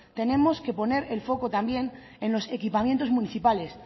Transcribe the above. tenemos que poner el foco también en los equipamientos municipales